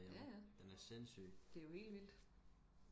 ja ja det er jo helt vildt